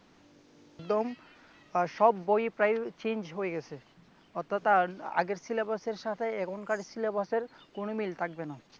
একদম সব বই প্রায় change হয়ে গেছে অর্থাৎ আর আগের syllabus এর সাথে এখনকার syllabus এর কোন মিল থাকবে না।